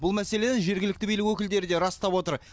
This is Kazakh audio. бұл мәселені жергілікті билік өкілдері де растап отыр